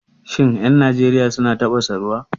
Shin 'yan Najeriya suna tafasa ruwa?